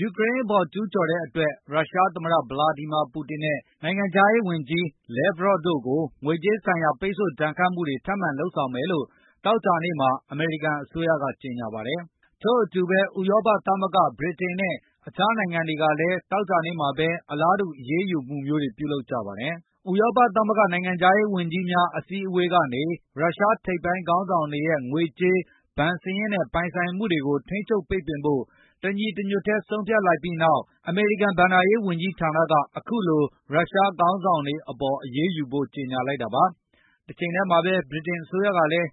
ယူကရိန်းအပေါ် ကျူးကျော်တဲ့အတွက် ရုရှားသမ္မတ ဗလာဒီမာပူတင်နဲ့ နိုင်ငံခြားရေးဝန် ကြီး Sergey Lavrov တို့ကို ငွေကြေးဆိုင်ရာပိတ်ဆို့ ဒဏ်ခတ်မှုတွေ ထပ်မံလုပ်ဆောင်မယ်လို့ သောကြာနေ့မှာ အမေရိကန်အစိုးရကကြေညာပါတယ်။ ထို့အတူဘဲ၊ ဥရောပသမဂ္ဂ၊ ဗြိတိန်နဲ့ အခြားနိုင်ငံတွေကလည်းသောကြာနေ့မှာဘဲ အလားတူ အရေးယူမှုအမျိုးတွေပြုလုပ်ကြပါတယ်။ ဥရောပသမဂ္ဂနိုင်ငံခြားရေးဝန်ကြီးများ အစည်းဝေးကနေ ရုရှားထိပ်ပိုင်းခေါင်းဆောင်တွေရဲ့ငွေကြေး၊ ဘဏ်စာရင်းတွေနဲ့ ပိုင်ဆိုင်မှုတွေကို ထိန်းချုပ်ပိတ်ပင်ဖို့ တညီတညွတ်ထဲ ဆုံးဖြတ်လိုက်ပြီးတဲ့နောက် အမေရိကန် ဘဏ္ဍာရေးဝန်ကြီးဌာန က အခုလိုရုရှားခေါင်း ဆောင်တွေအပေါ်အရေးယူဖို့ ကြေညာလိုက်တာပါ။ တချိန်ထဲမှာဘဲ ဗြိတိန်အစိုးရကလည်း